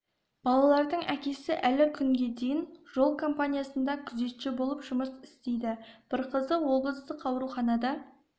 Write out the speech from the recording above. балалардың әкесі әлі күнге дейін жол компаниясында күзетші болып жұмыс істейді бір қызы облыстық ауруханада